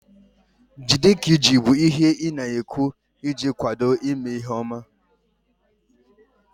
Jide ka iji bụ ihe ị na-ekwu iji kwado ime ihe ọma